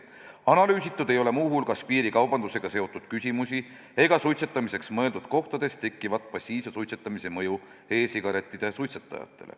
Analüüsitud ei ole muu hulgas piirikaubandusega seotud küsimusi ega suitsetamiseks mõeldud kohtades tekkivat passiivse suitsetamise mõju e-sigarettide suitsetajatele.